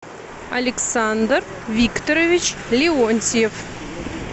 александр викторович леонтьев